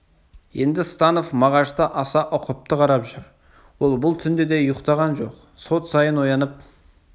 енді станов мағашты аса ұқыпты қарап жүр ол бұл түнде де ұйықтаған жоқ сот сайын оянып